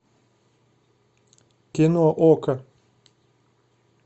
кино окко